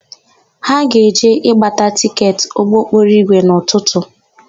Ha ga-eje ịgbata tịketị ụgbọokporoigwe n'ụtụtụ.